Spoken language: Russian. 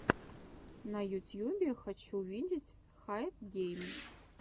на ютьюбе хочу увидеть хайпгейм